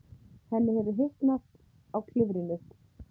Henni hefur hitnað á klifrinu.